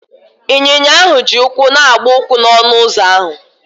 Ịnyinya ahụ ji ụkwụ na-agba ụkwụ n'ọnụ ụzọ ahụ.